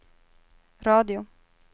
radio